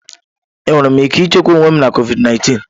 Enwere m ike ichekwa onwe m na COVID 19?